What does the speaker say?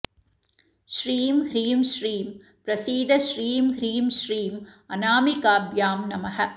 श्रीं ह्रीं श्रीं प्रसीद श्रीं ह्रीं श्रीं अनामिकाभ्यां नमः